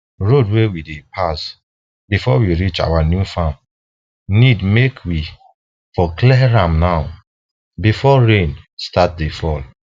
road wey we go pass befor we reach our new farm need make we for clear am now befor rain start dey fall